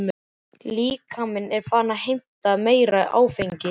Líkaminn er farinn að heimta meira áfengi.